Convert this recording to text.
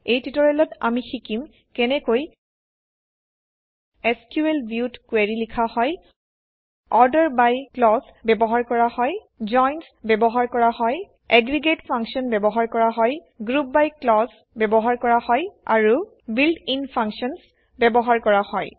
এই টিউটৰিয়েলত আমি শিকিম কেনেকৈ এছক্যুএল ভিউত কুৱেৰি লিখা হয় অৰ্ডাৰ বাই ক্লজ ব্যৱহাৰ কৰা হয় জইন্স ব্যৱহাৰ কৰা হয় এগ্ৰিগেট ফাংশ্যন ব্যৱহাৰ কৰা হয় গ্ৰুপ বাই ক্লজ ব্যৱহাৰ কৰা হয় আৰু বিল্ট ইন ফাংশ্যন ব্যৱহাৰ কৰা হয়